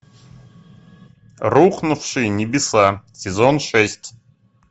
рухнувшие небеса сезон шесть